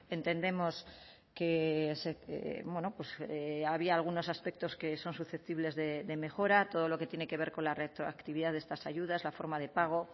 entendemos que había algunos aspectos que son susceptibles de mejora todo lo que tiene que ver con la retroactividad de estas ayudas la forma de pago